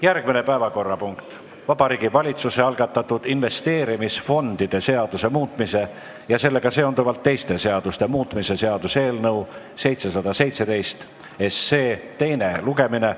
Järgmine päevakorrapunkt on Vabariigi Valitsuse algatatud investeerimisfondide seaduse muutmise ja sellega seonduvalt teiste seaduste muutmise seaduse eelnõu 717 teine lugemine.